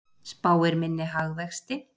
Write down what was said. Spáir minni hagvexti